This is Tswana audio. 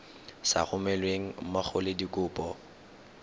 sa romelweng mmogo le dikopo